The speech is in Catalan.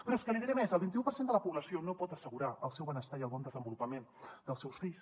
però és que li diré més el vinti u per cent de la població no pot assegurar el seu benestar i el bon desenvolupament dels seus fills